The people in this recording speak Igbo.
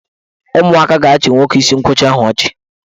Ụmụaka ga-achị nwoke isi nkwọcha ahụ ọchị.